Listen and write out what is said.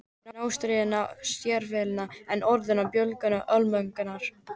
Inn óstýriláti sérvitringur er orðinn bljúgur almúgamaður.